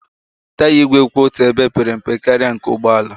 Taya igwe kwụ otu ebe pere mpe karịa nke ụgbọ ala